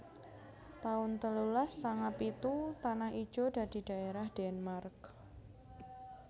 taun telulas sanga pitu Tanah Ijo dadi dhaerah Denmark